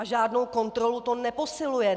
A žádnou kontrolu to neposiluje.